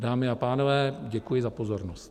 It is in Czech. Dámy a pánové, děkuji za pozornost.